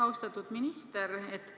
Austatud minister!